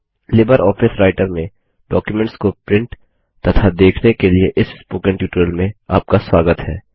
Libre office Writer में documents को print तथा देखने के इस स्पोकन ट्यूटोरियल में आपका स्वागत है